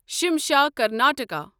Shimsha Karnataka